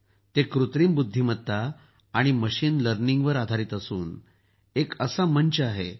ते कृत्रिम बुद्धिमत्ता आणि मशिन लर्निंगवर आधारित असून असा मंच आहे